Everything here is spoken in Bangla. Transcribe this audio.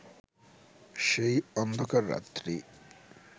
সেই অন্ধকার রাত্রি